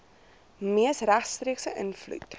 mees regstreekse invloed